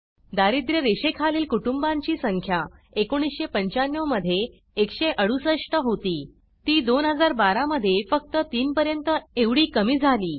दारिद्र्य रेषेखालील कुटुंबांची संख्या 1995 मध्ये 168 होती ती 2012 मध्ये फक्त 3 पर्यंत एवढी कमी झाली